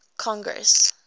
congress